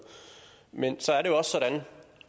men så er det jo også sådan